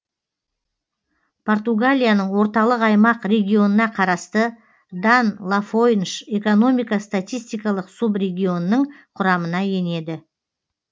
португалияның орталық аймақ регионына қарасты дан лафойнш экономика статистикалық субрегионының құрамына енеді